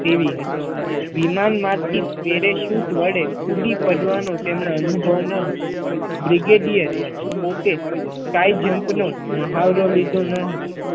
તેવી હતી વિમાનમાંથી પેરા શુટ વડે કુદી પડવાનો તેમના અનુભવ ન હતો બ્રિગેડિયર પોતે Sky jump નો મહાવરો લીધો ન હતો